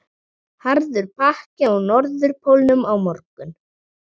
Harður pakki á Norðurpólnum á morgun